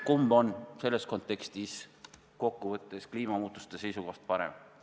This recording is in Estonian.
Kumb on kokkuvõttes kliimamuutuste seisukohast parem?